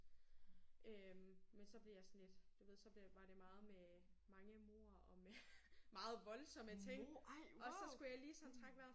Øh men så blev jeg sådan lidt du ved så blev var det meget med mange mord og meget voldsomme ting og så skulle jeg lige sådan trække vejret